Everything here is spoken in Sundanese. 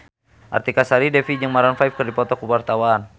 Artika Sari Devi jeung Maroon 5 keur dipoto ku wartawan